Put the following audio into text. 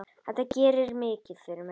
Þetta gerir mikið fyrir mig.